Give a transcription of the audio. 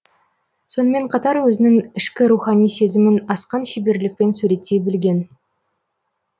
сонымен қатар өзінің ішкі рухани сезімін асқан шеберлікпен суреттей білген